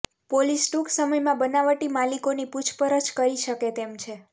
police ટૂંક સમયમાં બનાવટી માલિકોની પૂછપરછ કરી શકે તેમ છે